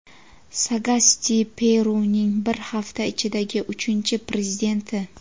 Sagasti Peruning bir hafta ichidagi uchinchi Prezidenti.